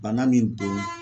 Bana min don